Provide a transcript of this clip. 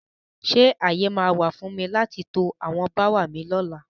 Ṣé ààyè máa wà fún mi láti to àwọn bááwà mi lóla?